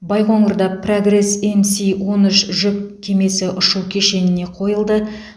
байқоңырда прогресс мс он үш жүк кемесі ұшу кешеніне қойылды